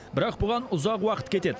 бірақ бұған ұзақ уақыт кетеді